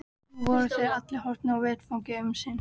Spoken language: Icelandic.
Nú voru þeir allir horfnir af vettvangi um sinn.